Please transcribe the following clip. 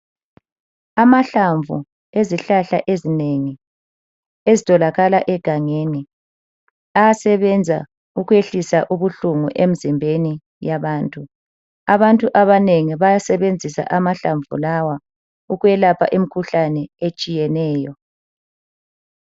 Amahlamvu ezihlahla ezinengi ezitholakala egangeni ayasebenza ukwehlisa ubuhlungu emzimbeni yabantu. Abantu abanengi bayasebenzisa amahlamvu lawa ukwelapha imkhuhlane etshiyeneyo.